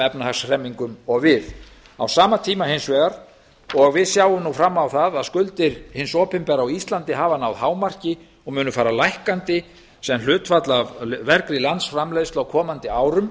efnahagshremmingum og við á sama tíma hins vegar og við sjáum nú fram á það að skuldir hins opinbera á íslandi hafa náð hámarki og munu fara lækkandi sem hlutfall af vergri landsframleiðslu á komandi árum